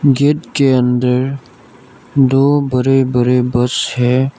Gate के अंदर दो बड़े बड़े बस है।